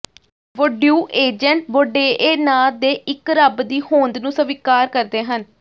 ਵੋਡਿਊਇਜ਼ੈਂਟ ਬੌਂਡੇਏ ਨਾਂ ਦੇ ਇਕ ਰੱਬ ਦੀ ਹੋਂਦ ਨੂੰ ਸਵੀਕਾਰ ਕਰਦੇ ਹਨ